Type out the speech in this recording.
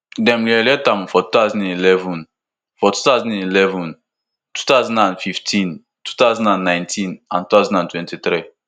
e dey reelected for two thousand and eleven for two thousand and eleven two thousand and fifteen two thousand and nineteen and two thousand and twenty-three